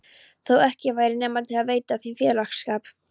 Þó ekki væri nema til að veita þeim félagsskap.